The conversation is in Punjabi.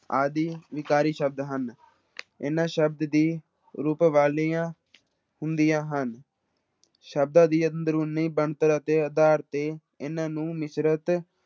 ਆਦਿ ਵਿਕਾਰੀ ਸ਼ਬਦ ਹਨ ਇਹਨਾਂ ਸ਼ਬਦ ਦੀ ਰੂਪ ਵਾਲੀਆਂ ਹੁੰਦੀਆਂ ਹਨ ਸ਼ਬਦਾਂ ਦੀ ਅੰਦਰੂਨੀ ਬਣਤਰ ਦੇ ਆਧਾਰ ਤੇ ਇਹਨਾਂ ਨੂੰ ਮਿਸ਼ਰਤ